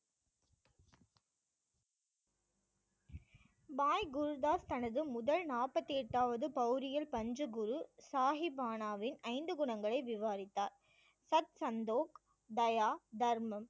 பாய் குருதாஸ் தனது முதல் நாற்பத்தி எட்டாவது பவ்ரியில் பஞ்ச குரு சாஹிபானாவின் ஐந்து குணங்களை விவாதித்தார் சர்த் சந்தோ தயா தர்மம்